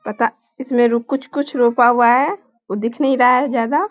पता इसमें कुछ-कुछ रोपा हुआ है उ दिख नहीं रहा है ज्यादा।